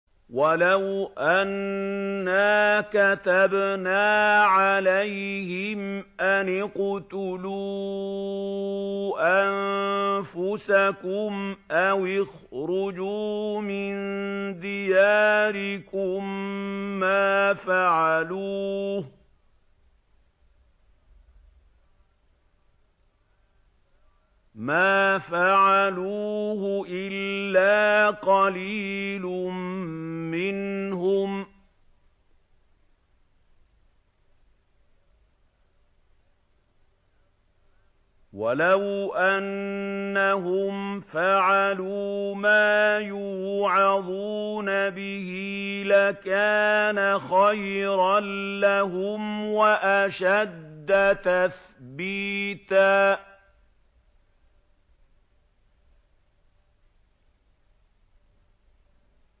وَلَوْ أَنَّا كَتَبْنَا عَلَيْهِمْ أَنِ اقْتُلُوا أَنفُسَكُمْ أَوِ اخْرُجُوا مِن دِيَارِكُم مَّا فَعَلُوهُ إِلَّا قَلِيلٌ مِّنْهُمْ ۖ وَلَوْ أَنَّهُمْ فَعَلُوا مَا يُوعَظُونَ بِهِ لَكَانَ خَيْرًا لَّهُمْ وَأَشَدَّ تَثْبِيتًا